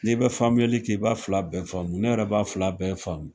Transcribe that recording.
N'i bɛ faamuyali kɛ i b'a fila bɛ faamu, ne yɛrɛ b'a fila bɛɛ faamu